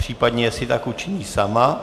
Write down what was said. Případně jestli tak učiní sama.